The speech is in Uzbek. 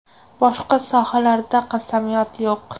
Boshqa sohalarda qasamyod yo‘q.